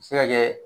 Se ka kɛ